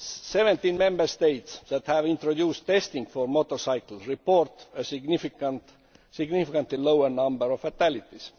Seventeen Member States that have introduced testing for motorcycles report a significantly lower number of fatalities.